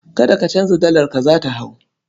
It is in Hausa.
Kada ka canza dalarka, za ta hau.